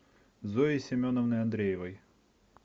зои семеновны андреевой